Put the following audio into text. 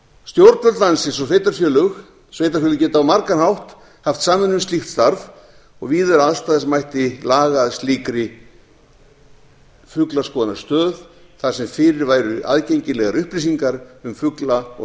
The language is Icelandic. stjórnvöld landsins og sveitarfélög geta á margan hátt haft samvinnu um slíkt starf og víða er aðstaða sem mætti laga að slíkri fuglaskoðunarstöð þar sem fyrir væru aðgengilegar upplýsingar um fugla og